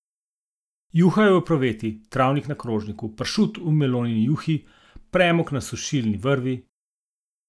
Juha v epruveti, travnik na krožniku, pršut v melonini juhi, premog na sušilni vrvi ...